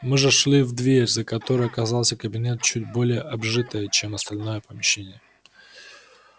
мы зашли в дверь за которой оказался кабинет чуть более обжитый чем остальное помещение